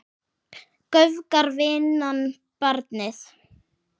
Göfgar vinnan barnið?